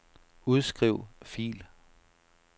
Udskriv fil.